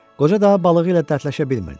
Qoca daha balığı ilə dərdləşə bilmirdi.